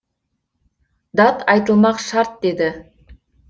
дат айтылмақ шарт деді